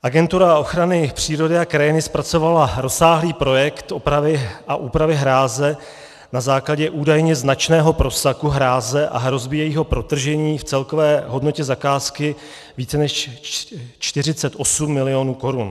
Agentura ochrany přírody a krajiny zpracovala rozsáhlý projekt opravy a úpravy hráze na základě údajně značného prosaku hráze a hrozby jejího protržení v celkové hodnotě zakázky více než 48 milionů korun.